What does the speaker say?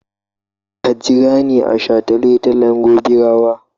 Ka jira ni a shataletalen Gobirawa!